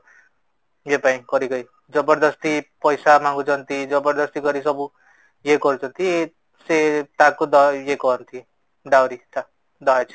ଝିଅ ପାଇଁ କରିକି ଜବରଦସ୍ତି ପଇସା ମାଗୁଛନ୍ତି ଜବରଦସ୍ତି କରିକି ସବୁ ଇଏ କରୁଛନ୍ତି ସେ ତାକୁ ୟେ କହନ୍ତି ଡାଉରୀ ଟା ଦହଜ